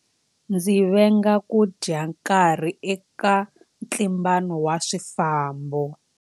Ndzi venga ku dya nkarhi eka ntlimbano wa swifambo.